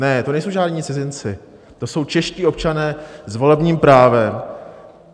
Ne, to nejsou žádní cizinci, to jsou čeští občané s volebním právem.